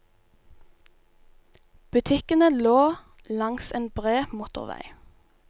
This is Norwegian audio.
Butikkene lå langs en bred motorvei.